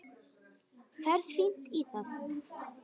Ferð fínt í það.